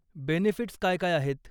Benefits काय काय आहेत?